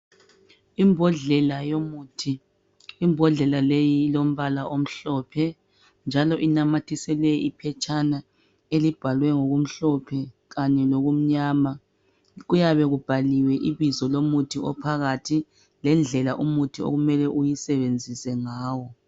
Imbodlela yomuthi, imbodlela leyi ilombala omhlophe njalo inamathiselwe iphetshana elibhalwe ngokumhlophe Kanye lokumnyama. Kuyabe kubhaliwe ibizo lomuthi ophakathi lendlela umuthi okumele uyisebenzisa ngawo.